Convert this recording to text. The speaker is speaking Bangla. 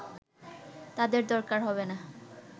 তাদের দরকার হবেনা”